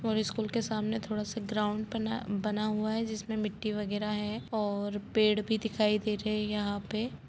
और स्कूल के सामने थोड़ा सा ग्राउंड बना बना हुआ है जिसमें मिट्टी वगैरह है और पेड़ भी दिखाई दे रहे हैं यहाँ पे।